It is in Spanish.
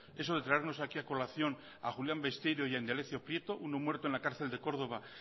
eso de traernos aquí a colación a julián besteiro y a indalecio prieto uno muerto en la cárcel de córdoba